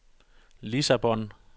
Lissabon